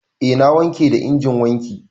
Eh na wanke da injin wanki.